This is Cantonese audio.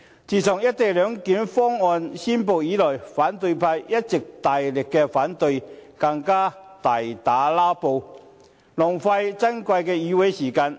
自"一地兩檢"方案公布以來，反對派一直大力反對，更大打"拉布"，浪費珍貴的議會時間。